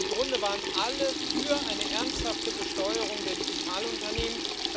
Im Grunde waren alle für eine ernsthafte Besteuerung der Digitalunternehmen.